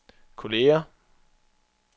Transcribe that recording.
kolleger